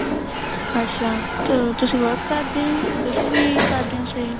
ਅੱਛਾ ਤਾਂ ਤੁਸੀਂ work ਕਰਦੇ ਓ ਜੀ ਤੁਸੀਂ ਵੀ ਕਰਦੇ ਓ sale